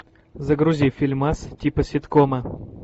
загрузи фильмас типа ситкома